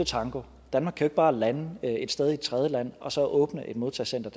tango danmark kan ikke bare lande et sted i et tredjeland og så åbne et modtagecenter